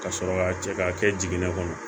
Ka sɔrɔ ka cɛ ka kɛ jigin ne kɔnɔ